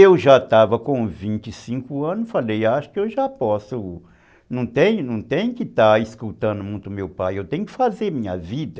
Eu já estava com vinte e cinco anos, falei, acho que eu já posso, não tenho não tenho que estar escutando muito meu pai, eu tenho que fazer minha vida.